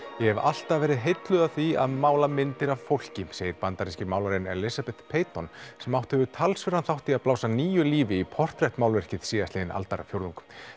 ég hef alltaf verið heilluð af því að mála myndir af fólki segir bandaríski málarinn Elizabeth Peyton sem átt hefur talsverðan þátt í að blása nýju lífi í portrett málverkið síðastliðinn aldarfjórðung